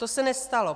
To se nestalo.